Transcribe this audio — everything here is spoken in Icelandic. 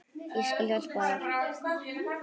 Ég skal hjálpa þér.